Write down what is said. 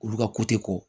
Olu ka ko tɛ ko